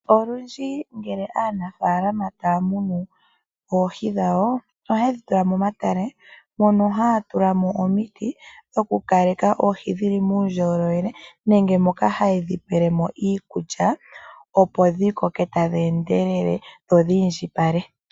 Olundji uuna aanafalama taya munu oohi dhawo ohaye dhi tula momatale mono haya tulamo omiti dhoku kaleka oohi dhili muundjolowele nenge moka haye dhi pelemo iikulya opo dhi koke tadhi endelele dho dhiindjipale.